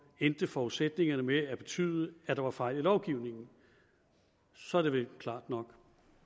endte forudsætningerne med at betyde at der var fejl i lovgivningen så er det vel klart nok